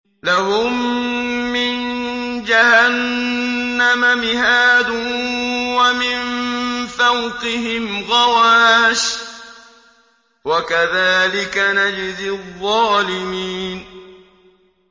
لَهُم مِّن جَهَنَّمَ مِهَادٌ وَمِن فَوْقِهِمْ غَوَاشٍ ۚ وَكَذَٰلِكَ نَجْزِي الظَّالِمِينَ